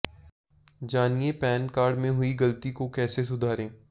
जानिए PAN card में हुई गलती को कैसे सुधारें